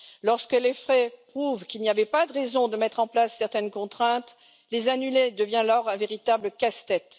Lorsque les faits prouvent qu'il n'y avait pas de raison de mettre en place certaines contraintes, les annuler devient alors un véritable casse tête.